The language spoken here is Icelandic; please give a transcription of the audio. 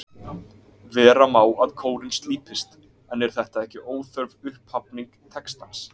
Vera má að kórinn slípist, en er þetta ekki óþörf upphafning textans?